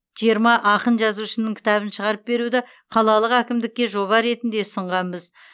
жиырма ақын жазушының кітабын шығарып беруді қалалық әкімдікке жоба ретінде ұсынғанбыз